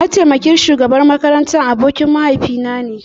Mataimakin shugaban makarantar abokin mahaifinane